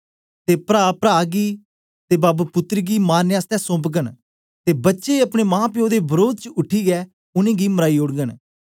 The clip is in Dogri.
ते प्रा प्रा गी ते प्पे पुत्तर गी मारने आसतै सोंपगन ते बच्चे अपने मांप्पो दे वरोध बेच उठीयै उनेंगी मराई ओडगन